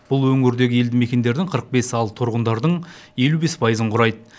бұл өңірдегі елді мекендердің қырық бес ал тұрғындардың елу бес пайызын құрайды